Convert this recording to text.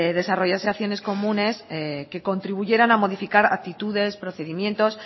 desarrollasen acciones comunes que contribuyeran a modificar actitudes procedimientos